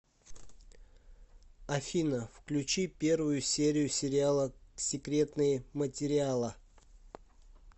афина включи первую серию сериала секретные материала